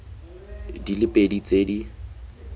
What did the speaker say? di le pedi tse di